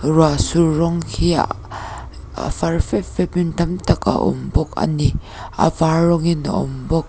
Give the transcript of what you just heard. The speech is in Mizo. ruah sur rawng khi a far fep fep in tam tak a awm bawk ani a var rawng in a awm bawk.